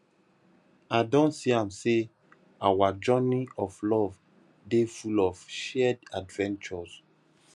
i don see am sey our journey of love dey full of shared adventures